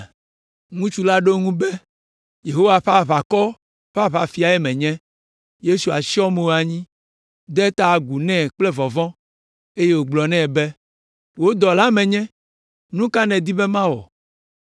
Ŋutsu la ɖo eŋu be, “Yehowa ƒe aʋakɔ ƒe Aʋafiae menye.” Yosua tsyɔ mo anyi, de ta agu nɛ kple vɔvɔ̃, eye wògblɔ nɛ be, “Wò dɔlae menye; nu ka nèdi be mawɔ?”